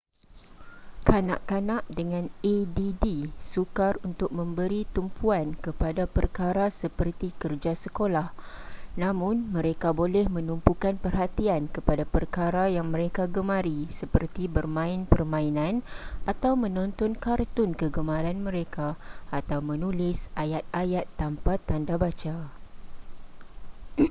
kanak-kanak dengan add sukar untuk memberi tumpuan kepada perkara seperti kerja sekolah namun mereka boleh menumpukan perhatian kepada perkara yang mereka gemari seperti bermain permainan atau menonton kartun kegemaran mereka atau menulis ayat-ayat tanpa tanda baca